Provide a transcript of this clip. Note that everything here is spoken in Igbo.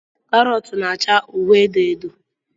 Karot na -acha uhie edo uhie edo.